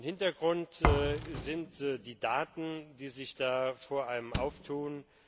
Hintergrund sind die Daten, die sich da vor einem auftun.